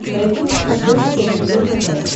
найти на смотрешке ржд тв